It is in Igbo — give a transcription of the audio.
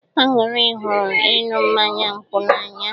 Aṅụrị hụrụ ịṅụ mmanya nkwụ n'anya.